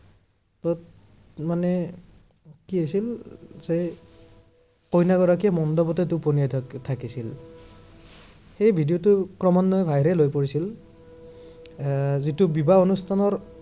যত, মানে, কি হৈছিল যে কইনাগৰাকীয়ে মণ্ডপতে টপনিয়াই থাকথাকিছিল। সেই video টো ক্ৰমান্বয়ে viral হৈ পৰিছিল। এৰ যিটো বিবাহ অনুষ্ঠানৰ